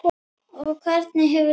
Og hvernig hefur gengið?